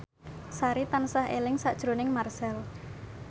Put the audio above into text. Sari tansah eling sakjroning Marchell